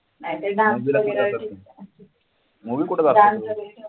नाहीतर dance वगैरे movie ला कुठे जातात तुम्ही?